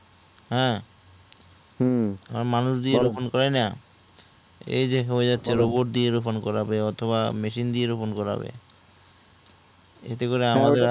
হ্যাঁ মানুষ দিয়ে রোপন করাই না এইযে বোট দিয়ে রোপন করবে বা machine দিয়ে রোপন করবে ইটা